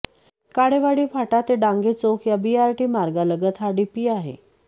काळेवाडी फाटा ते डांगे चौक या बीआरटी मार्गालगत हा डीपी आहे